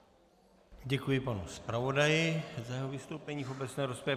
Děkuji panu zpravodaji za jeho vystoupení v obecné rozpravě.